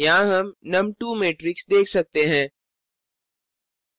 यहाँ हम num2 matrix देख सकते हैं